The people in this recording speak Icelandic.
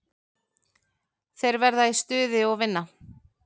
Þeir verða í stuði og vinna.